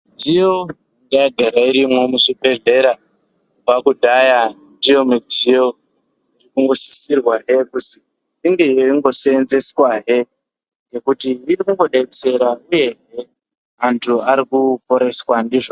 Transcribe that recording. Midziyo yanga yagara irimo muzvibhedhlera kubva kudhaya ndiyo midziyo inosisirwa zve kunge yeingosenzeswa he inodetsera he uye vantu varikuporeswa ndizvona.